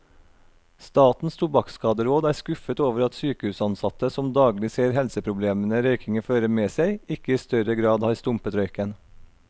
Statens tobakkskaderåd er skuffet over at sykehusansatte, som daglig ser helseproblemene røykingen fører med seg, ikke i større grad har stumpet røyken.